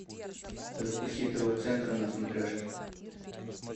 запусти тв центр на смотрешке